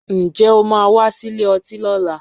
Ǹjẹ́ o máa wá sílè ọtí lọ́la?